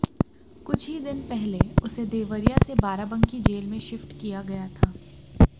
कुछ ही दिन पहले उसे देवरिया से बाराबंकी जेल में शिफ्ट किया गया था